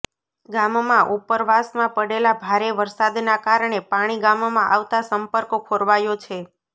ગામમાં ઉપરવાસમાં પડેલા ભારે વરસાદના કારણે પાણી ગામમાં આવતા સંપર્ક ખોરવાયો છે